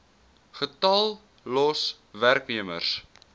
getal los werknemers